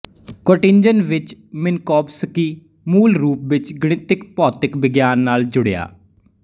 Göttingen ਵਿੱਚ Minkowski ਮੂਲ ਰੂਪ ਵਿੱਚ ਗਣਿਤਕ ਭੌਤਿਕ ਵਿਗਿਆਨ ਨਾਲ ਜੁੜਿਆ